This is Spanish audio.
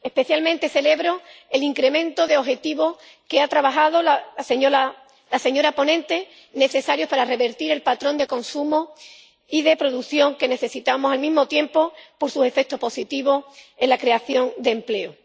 Especialmente celebro el incremento de objetivos que ha trabajado la señora ponente, necesarios para revertir el patrón de consumo y de producción que necesitamos, así como sus efectos positivos en la creación de empleo.